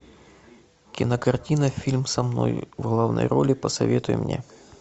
кинокартина фильм со мной в главной роли посоветуй мне